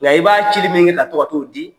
Nka i b'a cili min kɛ, ka to ka t'o di